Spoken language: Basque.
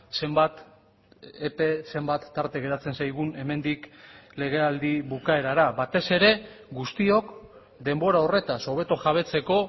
zenbat epe zenbat tarte geratzen zaigun hemendik legealdi bukaerara batez ere guztiok denbora horretaz hobeto jabetzeko